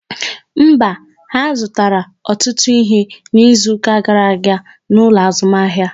Mba, ha zụtara ọtụtụ ihe n'izuka gara aga n'ụlọ azụmahịa